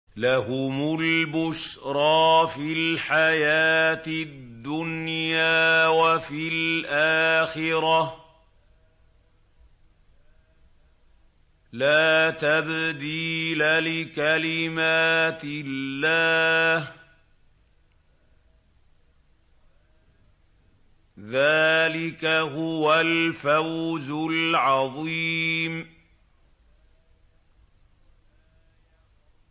لَهُمُ الْبُشْرَىٰ فِي الْحَيَاةِ الدُّنْيَا وَفِي الْآخِرَةِ ۚ لَا تَبْدِيلَ لِكَلِمَاتِ اللَّهِ ۚ ذَٰلِكَ هُوَ الْفَوْزُ الْعَظِيمُ